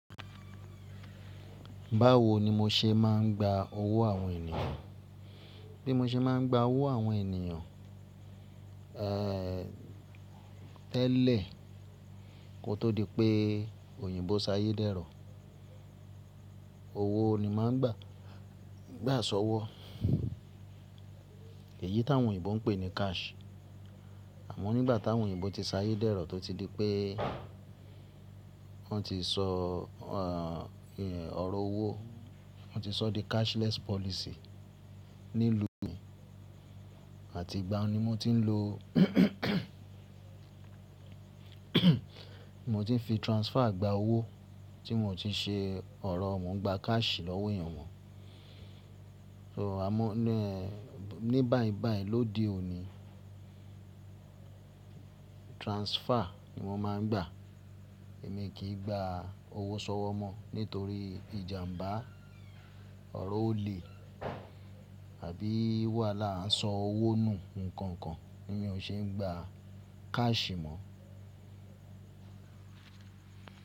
Báwo ni mo ṣe máa ń gba owó àwọn ènìyàn? Bí mo ṣe máa ń gba owó àwọn ènìyàn, eh, tẹ́lẹ̀ kó tó di pé òyìnbó ṣayé dẹ́rọ̀, owó ni màá ń gbà, gbà sọ́wọ́. Èyí táwọn òyìnbó ń pè ní cash. Àmọ́ nígbà táwọn òyìnbó ti sayé dẹ́rọ̀ tó ti di pé wọ́n ti ṣọ, eh, ọ̀rọ̀ owó, wọ́n ti ṣọ́ di cashless policy ní ìlú mi àti ìgbà n ni mo ti ń lo mo ti ń fi transfer gba owó tí n ò ti ṣe ọ̀rọ̀, mo ń gba cash lọ́wọ́ èèyàn mọ́. So, àmọ́ ní, ní báì báì lóde òní, transfer ni wọ́n máa ń gbà. Èmi kì í gba owó sọ́wọ́ mọ́ nítorí ìjàmbá, ọ̀rọ̀ ò le àbí wàhálà ń sọ owó nù, nǹkan kan ní o ṣe ń gba cash mọ́.